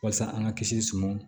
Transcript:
Walasa an ka kisi suman